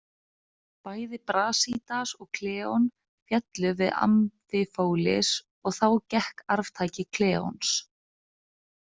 Bæði Brasídas og Kleon féllu við Amphipolis og þá gekk arftaki Kleons.